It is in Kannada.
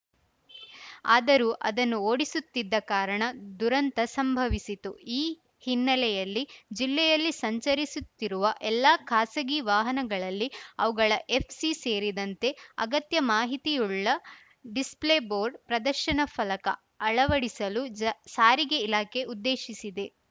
ಆದರೂ ಅದನ್ನು ಓಡಿಸುತ್ತಿದ್ದ ಕಾರಣ ದುರಂತ ಸಂಭವಿಸಿತ್ತು ಈ ಹಿನ್ನೆಲೆಯಲ್ಲಿ ಜಿಲ್ಲೆಯಲ್ಲಿ ಸಂಚರಿಸುತ್ತಿರುವ ಎಲ್ಲಾ ಖಾಸಗಿ ವಾಹನಗಳಲ್ಲಿ ಅವುಗಳ ಎಫ್‌ಸಿ ಸೇರಿದಂತೆ ಅಗತ್ಯ ಮಾಹಿತಿಯುಳ್ಳ ಡಿಸ್‌ಪ್ಲೇ ಬೋರ್ಡ್‌ ಪ್ರದರ್ಶನ ಫಲಕ ಅಳವಡಿಸಲು ಜಾ ಸಾರಿಗೆ ಇಲಾಖೆ ಉದ್ದೇಶಿಸಿದೆ